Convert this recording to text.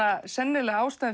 sennilega ástæða